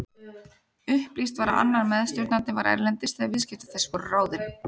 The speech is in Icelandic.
Upplýst var að annar meðstjórnandinn var erlendis þegar viðskipti þessi voru ráðin.